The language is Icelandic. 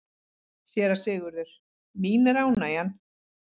SÉRA SIGURÐUR: Mín er ánægjan.